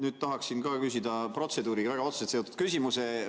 Ma tahaksin ka küsida protseduuriga väga otseselt seotud küsimuse.